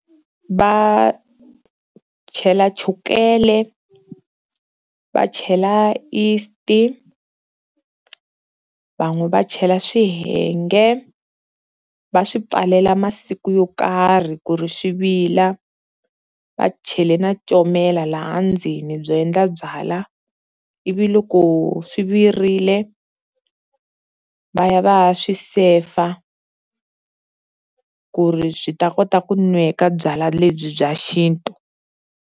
Va chela chukele, va chela yeast, va n'we va chela swihenge va swi pfalela masiku yo karhi ku ri xi vila va chele na comela laha ndzeni byo endla byalwa, ivi loko swi virile va ya va ya swi sefa ku ri byi ta kota ku nweka byalwa lebyi bya xintu.